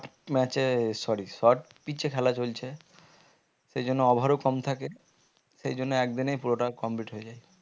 match এ sorry short pitch এ খেলা চলছে সেই জন্য over ও কম থাকে সেই জন্য একদিনেই পুরোটা complete হয়ে যায়